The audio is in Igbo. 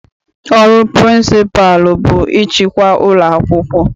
Ọrụ pịrịnsịpalụ bụ ịchịkwa ụlọakwụkwọ.